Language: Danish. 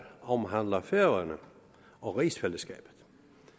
omhandler færøerne og rigsfællesskabet